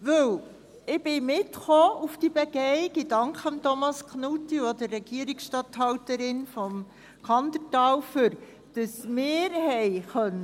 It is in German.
Weil: Ich bin zu dieser Begehung mitgekommen, und ich danke Thomas Knutti und auch der Regierungsstatthalterin vom Kandertal dafür, dass wir hinausgehen konnten.